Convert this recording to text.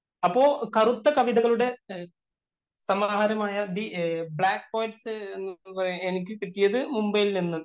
അപ്പൊ കറുത്ത കവിതകളുടെ സംഹാരമായ ദി ബ്ലാക്ക്‌ പേള്‍സ് എനിക്ക് കിട്ടിയത് മുബൈയില്‍ നിന്ന്.